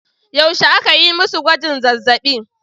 Yaushe aka yi masu gwajin zazzabi?